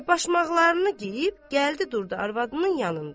Və başmaqlarını geyib gəldi durdu arvadının yanında.